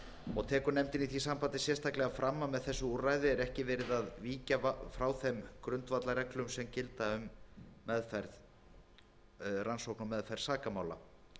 og tekur nefndin í því sambandi sérstaklega fram að með þessu úrræði er ekki verið að víkja frá þeim grundvallarreglum sem gilda um rannsókn og meðferð sakamála